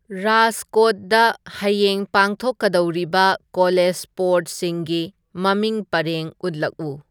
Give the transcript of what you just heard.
ꯔꯥꯖꯀꯣꯠꯗ ꯍꯌꯦꯡ ꯄꯥꯡꯊꯣꯛꯀꯗꯧꯔꯤꯕ ꯀꯣꯂꯦꯖ ꯁ꯭ꯄꯣꯔ꯭ꯠꯁꯤꯡꯒꯤ ꯃꯃꯤꯡ ꯄꯔꯦꯡ ꯎꯠꯂꯛꯎ